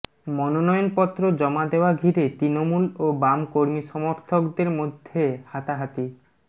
মনোনয়নপত্র জমা দেওয়া ঘিরে তৃণমূল ও বাম কর্মী সমর্থকদের মধ্যে হাতাহাতি